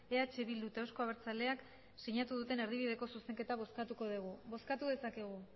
eh bildu eta euzko abertzaleak sinatu duten erdibideko zuzenketa bozkatuko dugu bozkatu dezakegu